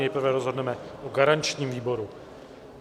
Nejprve rozhodneme o garančním výboru.